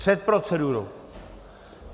Před procedurou?